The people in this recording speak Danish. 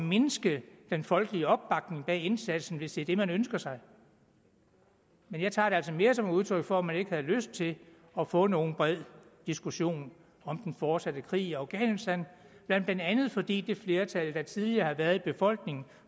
mindske den folkelige opbakning bag indsatsen hvis det er det man ønsker sig men jeg tager det altså mere som et udtryk for at man ikke havde lyst til at få nogen bred diskussion om den fortsatte krig i afghanistan blandt andet fordi det flertal der tidligere har været i befolkningen